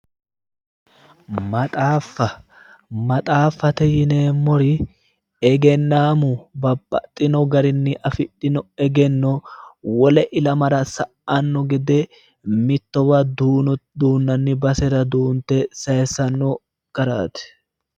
Maxaaffa, maxaaffatte yineemmori egennaamu babbaxinno garinni affidhino egenno wole ilamara sa'anno gede mittowa duuno duunanni basera duunte sayiissanno garaati.